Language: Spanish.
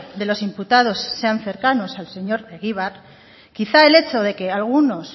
de los imputados sean cercanos al señor egibar quizá el hecho de que algunos